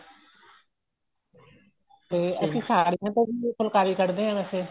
ਤੇ ਅਸੀਂ ਸਾੜੀਆਂ ਤੇ ਵੀ ਫੁਲਕਾਰੀ ਕੱਢਦੇ ਆ ਵੈਸੇ